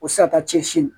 O tɛ se ka taa cɛsiri